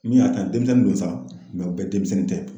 Min y'a ta denmisɛnnin dɔ san mɛ u bɛ denmisɛnnin tɛ.